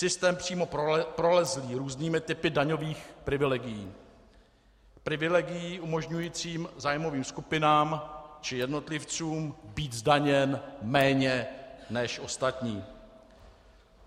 Systém přímo prolezlý různými typy daňových privilegií, privilegií umožňujících zájmovým skupinám či jednotlivcům být zdaněn méně než ostatní.